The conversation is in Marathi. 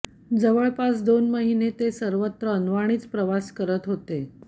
जवळपास दोन महिने ते सर्वत्र अनवाणीच प्रवास करत होते